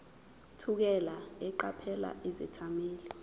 thukela eqaphela izethameli